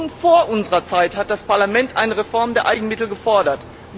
Schon vor unserer Zeit hat das Parlament eine Reform der Eigenmittel gefordert.